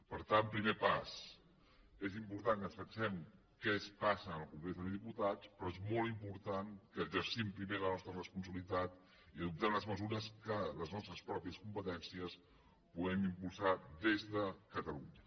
per tant primer pas és important que ens fixem en què passa al congrés dels diputats però és molt important que exercim primer la nostra responsabilitat i adoptem les mesures que amb les nostres pròpies competències puguem impulsar des de catalunya